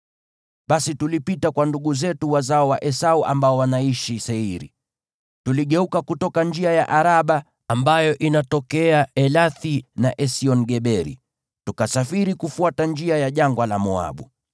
Basi tulipita kwa ndugu zetu wazao wa Esau ambao wanaishi Seiri. Tuligeuka kutoka njia ya Araba ambayo inatokea Elathi na Esion-Geberi, tukasafiri kufuata njia ya jangwa la Moabu.